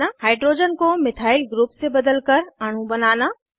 hydrogen को methyl group से बदलकर अणु बनाना